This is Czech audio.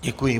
Děkuji.